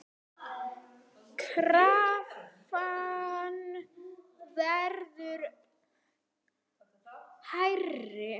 Krafan verður hærri.